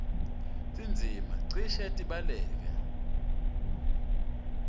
tindzima cishe tibhaleke